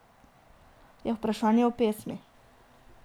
Je vprašanje o pesmi.